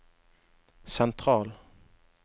sentral